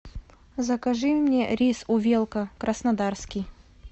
закажи мне рис увелка краснодарский